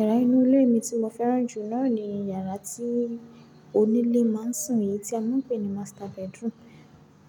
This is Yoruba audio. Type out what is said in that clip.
Yàrá inú ilé mi tí mo fẹ́ràn jù náà ni yàrá tí onílé máa ń sùn, èyí tí a máa ń pè ní master bedroom.